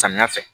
Samiya fɛ